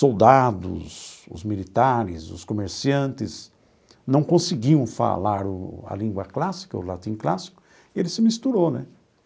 soldados, os militares, os comerciantes, não conseguiam falar o a língua clássica, o latim clássico, e ele se misturou, né?